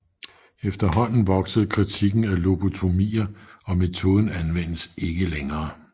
Efterhånden voksede kritikken af lobotomier og metoden anvendes ikke længere